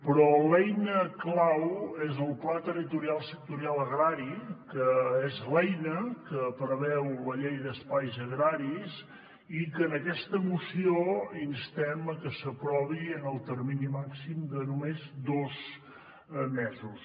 però l’eina clau és el pla territorial sectorial agrari que és l’eina que preveu la llei d’espais agraris i que en aquesta moció instem que s’aprovi en el termini màxim de només dos mesos